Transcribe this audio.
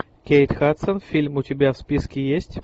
кейт хадсон фильм у тебя в списке есть